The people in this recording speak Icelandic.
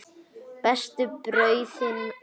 Bestu brauðin voru hjá henni.